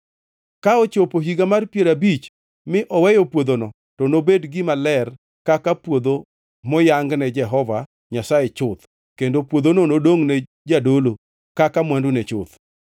Ka ochopo Higa mar Piero Abich mi oweyo puodhono, to nobed gima ler kaka puodho moyangne Jehova Nyasaye chuth, kendo puodhono nodongʼne jadolo kaka mwandune chuth.